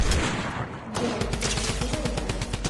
джой запусти майдан